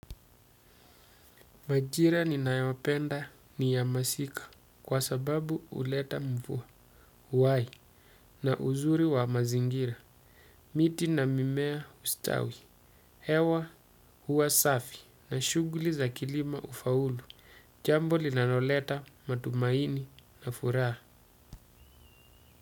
Majira ninayopenda ni ya masika kwa sababu huleta mvua, uhai, na uzuri wa mazingira. Miti na mimea hustawi, hewa huwa safi na shughuli za kilimo hufaulu. Jambo linaloleta matumaini na furaha.